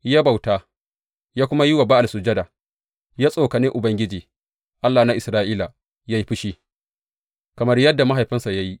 Ya bauta, ya kuma yi wa Ba’al sujada, ya tsokane Ubangiji, Allah na Isra’ila yă yi fushi, kamar yadda mahaifinsa ya yi.